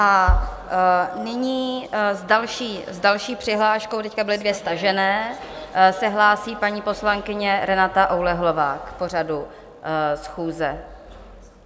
A nyní s další přihláškou, teď byly dvě stažené, se hlásí paní poslankyně Renata Oulehlová k pořadu schůze.